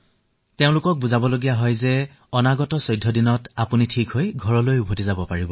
তেওঁলোকক বুজাব লাগে যে আগন্তুক ১৪টা দিনৰ ভিতৰত তেওঁলোক আৰোগ্য হৈ উঠিব ঘৰলৈ যাব পাৰিব